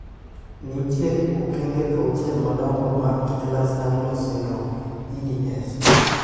Nitiere okeng'e auchiel madong'o mag Ehlers Danlos syndrome (EDS).